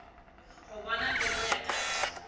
go bona pelo ya ka